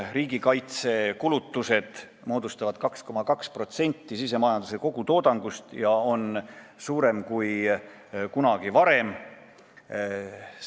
Riigi kaitsekulutused moodustavad 2,2% sisemajanduse kogutoodangust ja see näitaja on suurem kui kunagi varem.